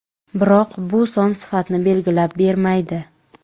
Biroq bu son sifatni belgilab bermaydi.